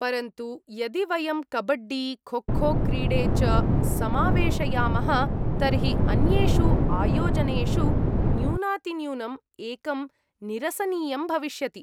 परन्तु यदि वयं कबड्डी, खोखो क्रीडे च समावेशयामः तर्हि अन्येषु आयोजनेषु न्यूनातिन्यूनम् एकं निरसनीयं भविष्यति।